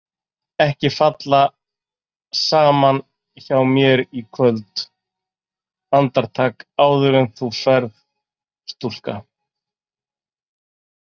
Ekki falla saman hjá mér í kvöld Andartak, áður en þú ferð, stúlka.